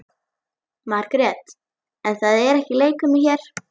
Margrét: En það er leikfimi hér.